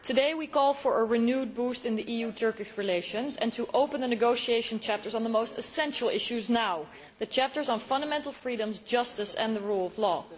Mr President, today we call for a renewed boost in EU Turkish relations and to open the negotiation chapters on the most essential issues now the chapters on fundamental freedoms, justice and the rule of law.